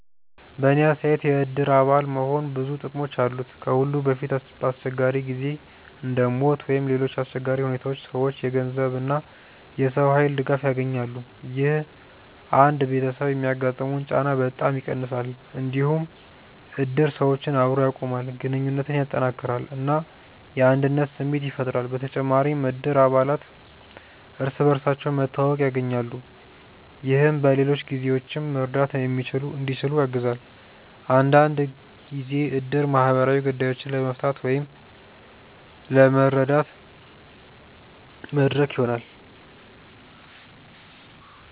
በእኔ አስተያየት የእድር አባል መሆን ብዙ ጥቅሞች አሉት። ከሁሉ በፊት በአስቸጋሪ ጊዜ እንደ ሞት ወይም ሌሎች አሰቸጋሪ ሁኔታዎች ሰዎች የገንዘብ እና የሰው ኃይል ድጋፍ ያገኛሉ። ይህ አንድ ቤተሰብ የሚያጋጥመውን ጫና በጣም ይቀንሳል። እንዲሁም እድር ሰዎችን አብሮ ያቆማል፣ ግንኙነትን ያጠናክራል እና የአንድነት ስሜት ያፈጥራል። በተጨማሪም እድር አባላት እርስ በርስ መተዋወቅ ያገኛሉ፣ ይህም በሌሎች ጊዜዎችም መርዳት እንዲችሉ ያግዛል። አንዳንድ ጊዜ እድር ማህበራዊ ጉዳዮችን ለመፍታት ወይም ለመረዳት መድረክ ይሆናል።